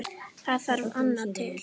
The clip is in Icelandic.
Það þarf annað til.